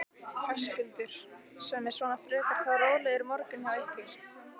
Höskuldur: Sem er svona frekar þá rólegur morgunn hjá ykkur?